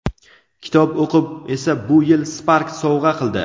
kitob o‘qib esa bu yil "Spark" sovg‘a qildi.